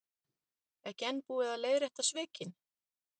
Ekki enn búið að leiðrétta svikin